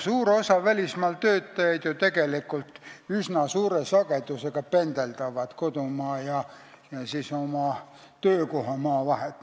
Suur osa välismaal töötajaid pendeldavad ju üsna suure sagedusega kodumaa ja oma töökohamaa vahet.